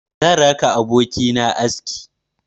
Zan raka abokina aski.